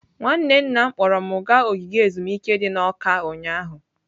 Nwanne nna m kpọọrọ m gaa ogige ezumike dị n'Awka ụnyahụ.